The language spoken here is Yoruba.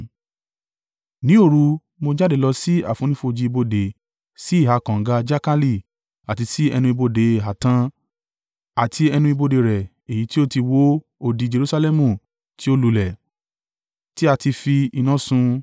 Ní òru, mo jáde lọ sí àfonífojì ibodè sí ìhà kànga Jakali àti sí ẹnu ibodè Ààtàn àti ẹnu ibodè rẹ̀ èyí tí ó ti wó odi Jerusalẹmu tí ó lulẹ̀, tí a ti fi iná sun.